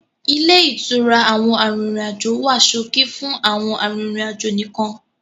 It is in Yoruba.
Ilé ìtura àwọn arìnrìn-àjò wá ṣókí fún àwọn arìnrìn-àjò nìkan.